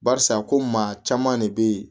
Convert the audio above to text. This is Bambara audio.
Barisa ko maa caman de be yen